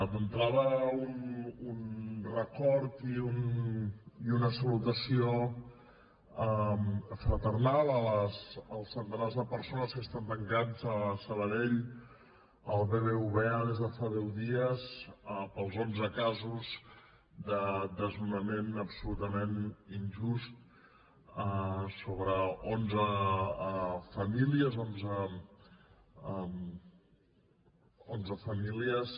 d’entrada un record i una salutació fraternal als centenars de persones que estan tancats a sabadell al bbva des de fa deu dies pels onze casos de desnonament absolutament injust sobre onze famílies onze famílies